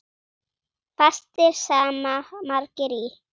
Fastir sama margir í.